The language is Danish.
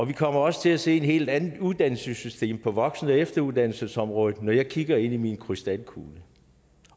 vi kommer også til at se et helt andet uddannelsessystem på voksen og efteruddannelsesområdet når jeg kigger ind i min krystalkugle